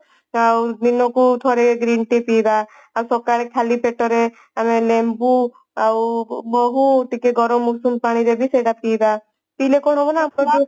ଆଉ ଦିନକୁ ଥରେ green tea ପିଇବା ଆଉ ସକାଳେ ଖାଲି ପେଟରେ ଆମେ ଲେମ୍ବୁ ଆଉ ମହୁ ଟିକେ ଗରମ ଉଷୁମ ପାଣିରେ ବି ସେଟା ପିଇବା ପିଇଲେ କଣ ହେବ ନା ସେ ଯୋଉ